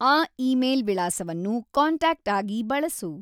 ಆ ಇಮೇಲ್ ವಿಳಾಸವನ್ನು ಕಾಂಟಾಕ್ಟ್ ಆಗಿ ಬಳಸು